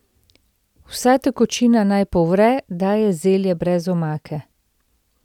Vsa tekočina naj povre, da je zelje brez omake.